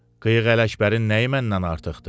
Qıyığ Ələkbərin nəyi məndən artıqdır?